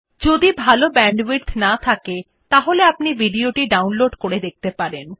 যদি ভাল ব্যান্ডউইডথ না থাকে তাহলে আপনি ভিডিও টি ডাউনলোড করে দেখতে পারেন